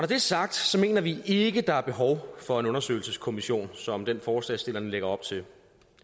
det er sagt mener vi ikke at der er behov for en undersøgelseskommission som den forslagsstillerne lægger op til